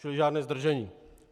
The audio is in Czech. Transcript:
Čili žádné zdržení.